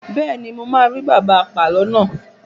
Bẹ́ẹ̀ni, mo máa rí bàbá apàlo náà.